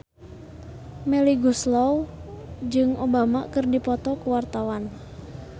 Melly Goeslaw jeung Obama keur dipoto ku wartawan